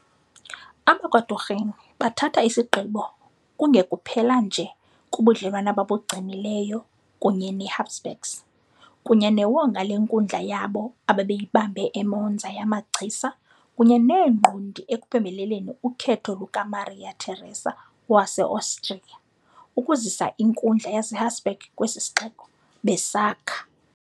AbakwaDurini bathatha isigqibo kungekuphela nje kubudlelwane ababugcinileyo kunye neHabsburgs kunye newonga lenkundla yabo ababeyibambe eMonza yamagcisa kunye neengqondi ekuphembeleleni ukhetho lukaMaria Teresa waseOstriya ukuzisa inkundla yaseHabsburg kwesi sixeko, besakha.